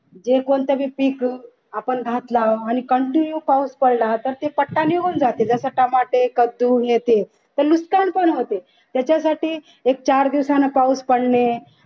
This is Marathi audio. हे कोणतं भी पिक आपण घातलं आणि continue पाऊस पडला तर ते पट्टा निघून जाते जसं टमाटे कद्दू हे ते तर नुकसान पण होते त्याच्यासाठी एक चार दिवसांनी पाऊस पडणे